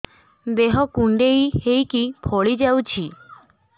ଦେହ କୁଣ୍ଡେଇ ହେଇକି ଫଳି ଯାଉଛି